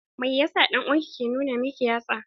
Mai yasa dan'uwan ki ke nuna miki yatsa?